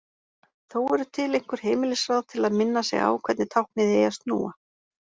Þó eru til einhver heimilisráð til að minna sig á hvernig táknið eigi að snúa.